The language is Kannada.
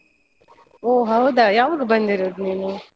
ಓ ಹೌದಾ? ಯಾವಾಗ ಬಂದಿರೋದ್ ನೀನು?